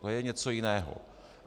To je něco jiného.